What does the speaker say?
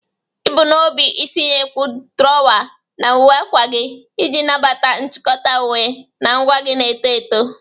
Ị bu n'obi itinyekwu drawa na uwe akwa gị iji nabata nchịkọta uwe na ngwa gị na-eto eto.